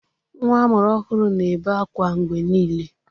Nwa amụrụ ọhụrụ na-ebe akwa mgbe niile.